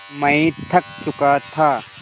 मैं थक चुका था